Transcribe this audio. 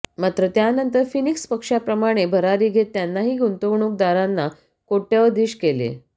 मात्र त्यानंतर फिनिक्स पक्षाप्रमाणे भरारी घेत त्यांनाही गुंतवणूकदारांना कोट्यवधीश केले